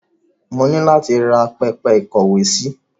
Mo ni láti ra pẹpẹ ìkówèésí.